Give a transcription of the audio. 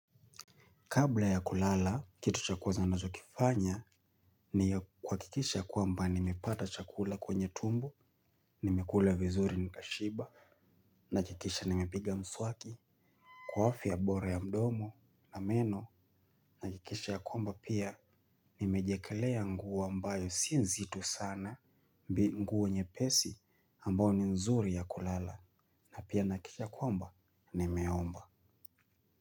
Kabla ya kulala, kitu cha kwanza nachokifanya ni kuhakikisha ya kwamba nimepata chakula kwenye tumbo, nimekula vizuri nikashiba, nahakikisha nimepiga mswaki. Kwa afya bora ya mdomo na meno, nahakikisha ya kwamba pia, nimejiekelea nguo ambayo si nzito sana, mbi nguo nyepesi ambao ni nzuri ya kulala, na pia nahakikisha ya kwamba, nimeomba.